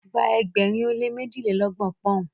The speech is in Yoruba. gba ẹgbẹrin o le mejilelọgbọn poun